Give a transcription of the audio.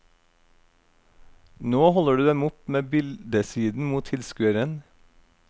Nå holder du dem opp med bildesiden mot tilskueren.